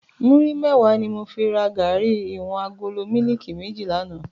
Múri mèwá ni mó fi rá gàrí iwòn àgóló mìlíkí mèjí làná